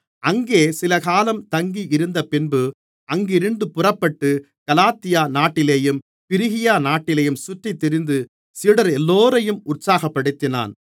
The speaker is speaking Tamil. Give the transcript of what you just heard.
அங்கே சிலகாலம் தங்கியிருந்தபின்பு அங்கிருந்து புறப்பட்டு கலாத்தியா நாட்டிலேயும் பிரிகியா நாட்டிலேயும் சுற்றித்திரிந்து சீடரெல்லோரையும் உற்சாகப்படுத்தினான்